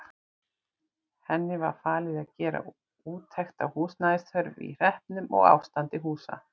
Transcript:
Henni var falið að gera úttekt á húsnæðisþörf í hreppnum og ástandi húsa.